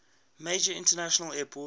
major international airport